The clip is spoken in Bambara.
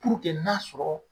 Purukɛ n'a sɔrɔ